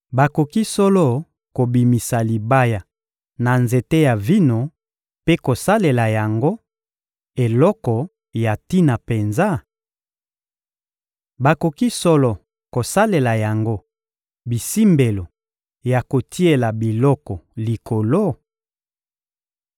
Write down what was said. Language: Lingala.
Bakoki solo kobimisa libaya na nzete ya vino mpe kosalela yango eloko ya tina penza? Bakoki solo kosalela yango bisimbelo ya kotiela biloko likolo?